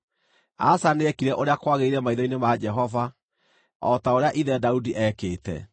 Asa nĩekire ũrĩa kwagĩrĩire maitho-inĩ ma Jehova, o ta ũrĩa ithe Daudi eekĩte.